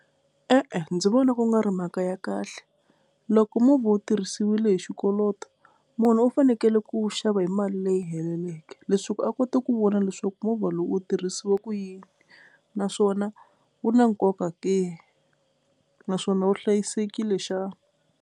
E-e ndzi vona ku nga ri mhaka ya kahle loko movha wu tirhisiwile hi xikoloto munhu u fanekele ku wu xava hi mali leyi heleleke, leswi a kota ku vona leswaku movha lowu wu tirhisiwa ku yini naswona wu na nkoka ke naswona wu hlayisekile xa.